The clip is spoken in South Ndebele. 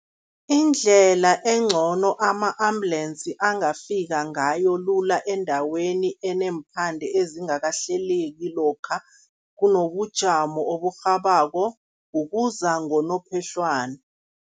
Indlela engcono ama-ambulensi angafika ngayo lula endaweni eneemphande ezingakahleleki lokha kunobujamo oburhabako, ukuza ngonophehlwana.